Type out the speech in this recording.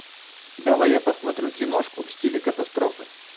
давай я посмотрю киношку в стиле катастрофы